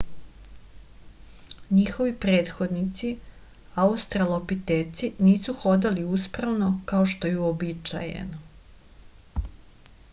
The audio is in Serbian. njihovi prethodnici australopiteci nisu hodali uspravno kao što je uobičajeno